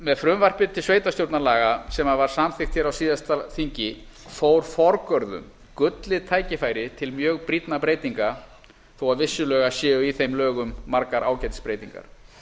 með frumvarpi til sveitarstjórnarlaga sem var samþykkt hér á síðasta þingi fór forgörðum gullið tækifæri til mjög brýnna breytinga þó að vissulega séu í þeim lögum margar ágætis breytingar